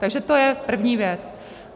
Takže to je první věc.